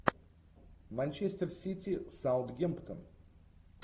манчестер сити саутгемптон